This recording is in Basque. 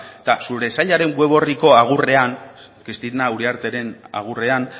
eta zure sailaren web orriko agurrean cristina uriarteren agurrean